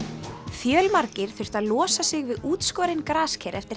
fjölmargir þurftu að losa sig við útskorin grasker eftir